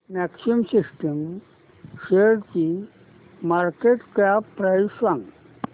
maxima systems शेअरची market cap price सांगा